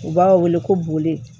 U b'a wele ko boli